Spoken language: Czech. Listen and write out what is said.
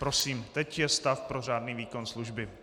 Prosím, teď je stav pro řádný výkon služby.